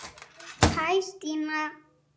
Hæ Stína